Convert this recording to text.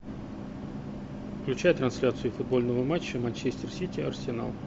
включай трансляцию футбольного матча манчестер сити арсенал